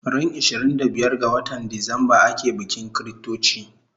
Ran ishirin da biyar ga watan Decemba ake bikin chritochi